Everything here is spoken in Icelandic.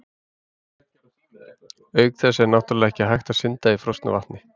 Auk þess er náttúrlega ekki hægt að synda í frosnu vatni!